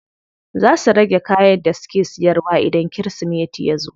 Za su rage kayan da suke siyarwa idan kirismeti yazo.